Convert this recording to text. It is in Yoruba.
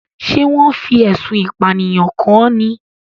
Ṣé wọn fi ẹ̀sùn ìpànìyàn kan ni?